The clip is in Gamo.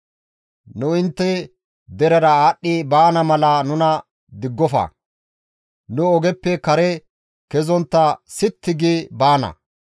«Nu intte derera aadhdhi baana mala nuna diggofa; nu ogeppe kare kezontta sitti gi baana.